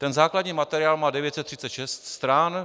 Ten základní materiál má 936 stran.